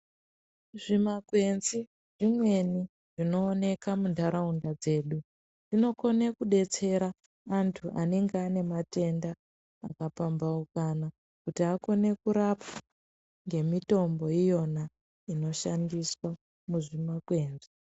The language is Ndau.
Zvimakwenzi zvimweni zvinooneka muntaraunda dzedu zvinokone kubetsera antu anenge aine matenda akapambaukana. Kuti akone kurapa ngemitombo iyona inoshandiswa muzvimakwenzi.